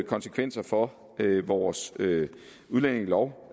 konsekvenser for vores udlændingelov